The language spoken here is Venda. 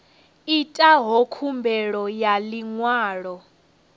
itaho khumbelo ya ḽi ṅwalo